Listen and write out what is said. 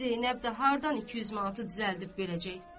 Zeynəb də hardan 200 manatı düzəldib verəcək?